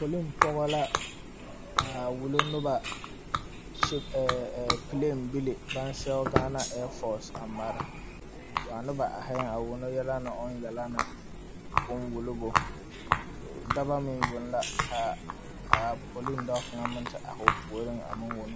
Poliŋ pɔge la a wulo noba piliŋbili baŋ sɛge Ghana air force a mare a noba ahiyeŋ a wono yɛlɛ ne o yɛlɛ ne oŋ wulobo daba meŋ yoŋ la ka a poliŋ dao meŋ te ahi o puori a me wono.